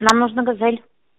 нам нужна газель